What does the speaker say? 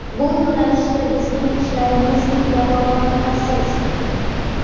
Bu yo‘nalishda bizning ishlarimiz mutlaqo qoniqarsiz.